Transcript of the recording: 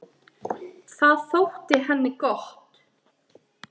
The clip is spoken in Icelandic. Það þótti henni gott.